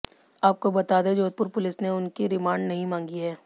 आपको बता दें जोधपुर पुलिस ने उनकी रिमांड नहीं मांगी है